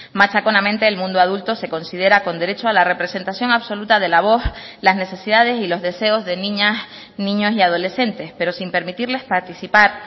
machaconamente el mundo adulto se considera con derecho a la representación absoluta de la voz las necesidades y los deseos de niñas niños y adolescentes pero sin permitirles participar